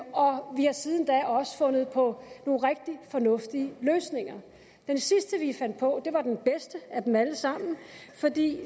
og vi har siden da også fundet på nogle rigtig fornuftige løsninger den sidste vi fandt på var den bedste af dem alle sammen